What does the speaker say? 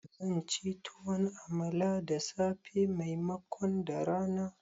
Zanci tuwon amala da safe maimakon da rana